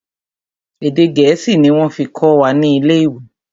Èdè gẹ̀ẹ́sì ni wọ́n fí kọ́ wa ni ilé ìwé.